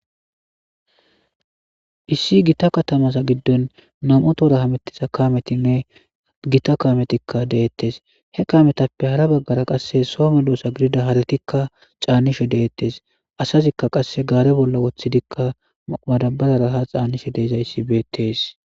issi gita katamasa giddon nam7otora hamettisa kametinne gita kaametikka deettes he kaametappe hara baggara qasse soome doosa gidida halatikka caannishe deettes asazikka qasse gaare bolla woththidikka madabararaha xaanishe deezayssi beettes